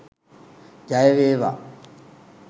ජය වේවා!.